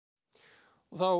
og þá